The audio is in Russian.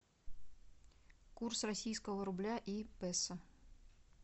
курс российского рубля и песо